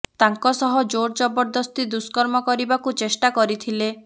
ତାଙ୍କ ସହ ଜୋର ଜବରଦସ୍ତି ଦୁଷ୍କର୍ମ କରିବାକୁ ଚେଷ୍ଟା କରିଥିଲେ